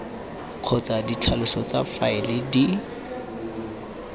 kgotsa ditlhaloso tsa faele di